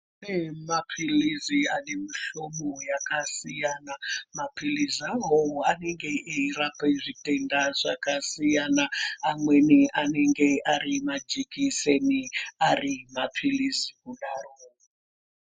Kune maphilizi ane mihlobo yakasiyana. Maphilizi awawo anenge eyirape zvitenda zvakasiyana. Amweni anenge ari majikiseni ari maphilizi kudaro.